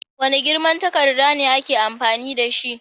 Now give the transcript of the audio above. Wane girman takarda ne aka fi amfani dashi?